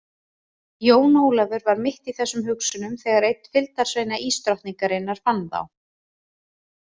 Jón Ólafur var mitt í þessum hugsunum þegar einn fylgdarsveina ísdrottningarinar fann þá.